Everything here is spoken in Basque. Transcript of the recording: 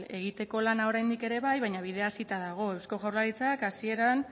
egiteko lana oraindik ere bai baina bidea hasita dago eusko jaurlaritzak